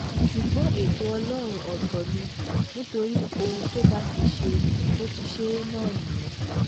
ṣùgbọ́n ètò ọlọ́run ọ̀tọ̀ ni nítorí ohun tó bá ti ṣe ó ti ṣe é náà nìyẹn